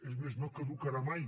és més no caducarà mai